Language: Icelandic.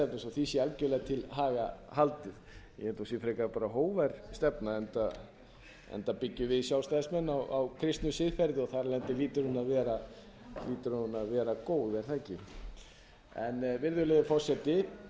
því sé algjörlega til haga haldið ég held að hún sé frekar bara hógvær stefna enda byggjum við sjálfstæðismenn á kristnu siðferði og þar af leiðandi hlýtur hún að vera góð er það ekki virðulegur forseti